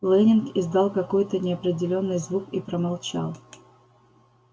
лэннинг издал какой-то неопределённый звук и промолчал